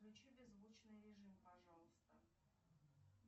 включи беззвучный режим пожалуйста